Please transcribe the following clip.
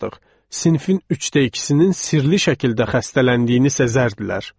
Sinifin üçdə ikisinin sirli şəkildə xəstələndiyini isə sezdilər.